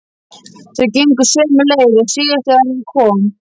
Þau gengu sömu leið og síðast þegar hann kom.